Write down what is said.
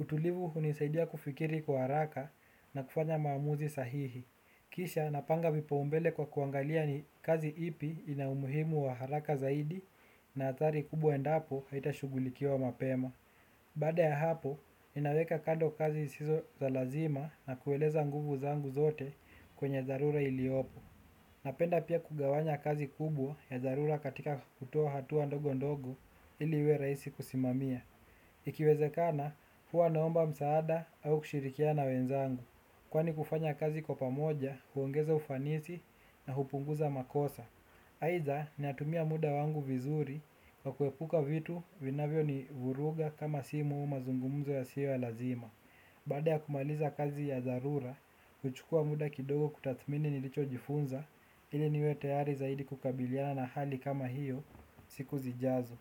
Utulivu hunisaidia kufikiri kwa haraka na kufanya maamuzi sahihi. Kisha napanga vipaumbele kwa kuangalia ni kazi ipi ina umuhimu wa haraka zaidi na athari kubwa endapo haitashughulikiwa mapema. Baada ya hapo, ninaweka kando kazi zisizo za lazima na kueleza nguvu zangu zote kwenye dharura iliopo. Napenda pia kugawanya kazi kubwa ya dharura katika kutoa hatua ndogo ndogo ili iwe rahisi kusimamia. Ikiwezekana, huwa naomba msaada au kushirikia na wenzangu. Kwani kufanya kazi kwa pamoja, huongeza ufanisi na hupunguza makosa. Aidha ninatumia muda wangu vizuri wa kuepuka vitu vinavyo ni vuruga kama simu au mazungumzo yasiyo ya lazima. Baada ya kumaliza kazi ya dharura, huchukua muda kidogo kutathmini nilicho jifunza ili niwe tayari zaidi kukabiliana na hali kama hiyo siku zijazo.